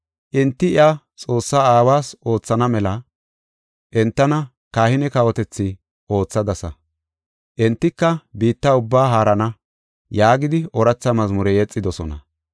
Enti iya Xoossaa Aawas oothana mela entana kahine kawotethi oothadasa. Entika biitta ubbaa haarana” yaagidi ooratha mazmure yexidosona.